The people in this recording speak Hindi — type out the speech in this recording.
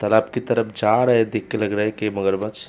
तलाब की तरफ जा रहे देख के लग रहा की मगरमछ --